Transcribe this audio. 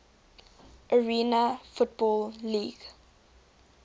arena football league